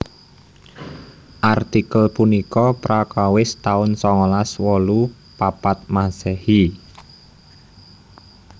Artikel punika prakawis taun songolas wolu papat Masehi